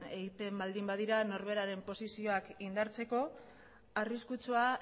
egiten baldin badira norberaren posizioak indartzeko arriskutsua